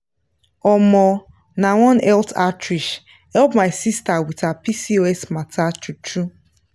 omo nah one health outreach help my sister with her pcos matter true true.